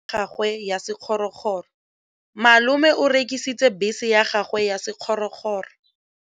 Malome o rekisitse bese ya gagwe ya sekgorokgoro.